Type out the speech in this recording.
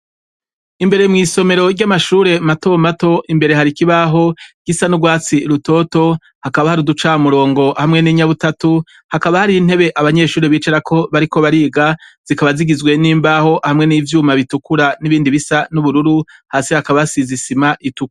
Imbere mw'isomero rw'amashure matomato imbere har'ikibaho gisa n'ugwatsi rutoto hakaba har'igicamurongo hamwe n'inyabutatu; hakaba hariy'intebe abanyeshure bicarako bariko bariga zikaba zigizwe n'imbaho hamwe n'ivyuma bitukura n'ibindi bisa n'ubururu. Hasi hakaba hasize isima itukura.